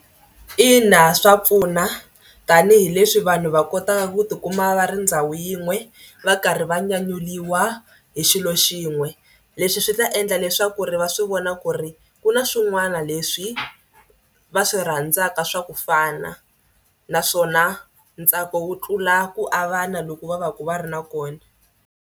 Ina swa pfuna tanihileswi vanhu va kotaka ku tikuma va ri ndhawu yin'we va karhi va nyanyuriwa hi xilo xin'we. Leswi swi ta endla leswaku ri va a swi vona ku ri ku na swin'wana leswi va swi rhandzaka swa ku fana naswona ntsako wo tlula ku avana loku va va ka va ri na kona.